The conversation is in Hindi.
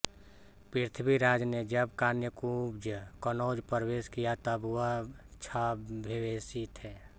पृथ्वीराज ने जब कान्यकुब्ज कनौज प्रवेश किया तब वह छद्मवेशी थे